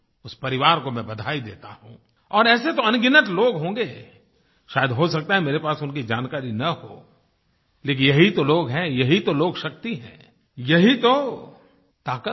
उस परिवार को मैं बधाई देता हूँ और ऐसे तो अनगिनत लोग होंगे शायद हो सकता है मेरे पास उनकी जानकारी न हो लेकिन यही तो लोग हैं यही तो लोकशक्ति है यही तो ताकत है